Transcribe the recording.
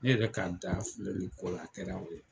Ne yɛrɛ ka da filɛli ko la a kɛra o ye.